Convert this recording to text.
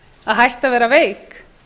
að hætta að vera veik